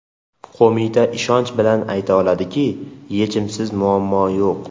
Qo‘mita ishonch bilan ayta oladiki, yechimsiz muammo yo‘q.